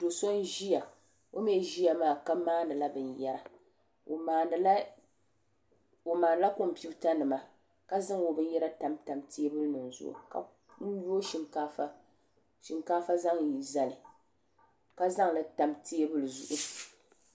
do' so n-ʒiya o mi ʒiya maa ka maani la binyɛra o maani la kompiuta nima ka zaŋ o binyɛra tamtam teebuli nima zuɣu ka yuui shinkaafa zaŋ zali ka zaŋli tam teebuli zuɣu.